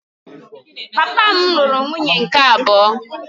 Papa m lụrụ nwunye nke abụọ